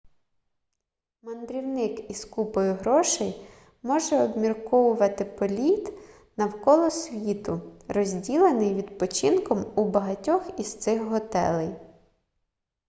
мандрівник із купою грошей може обміркувати політ навколо світу розділений відпочинком у багатьох із цих готелей